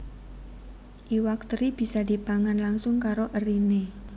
Iwak teri bisa dipangan langsung karo eriné